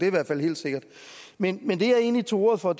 i hvert fald helt sikkert men men det jeg egentlig tog ordet for